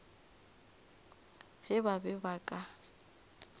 ge ba be ba ka